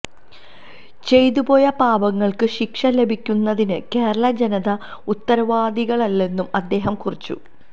ചെയ്തുപോയ പാപങ്ങള്ക്ക് ശിക്ഷ ലഭിക്കുന്നതിന് കേരള ജനത ഉത്തരവാദികളല്ലെന്നും അദ്ദേഹം കുറിച്ചു